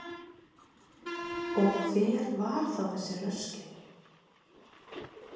Og hver var þá þessi Ruskin?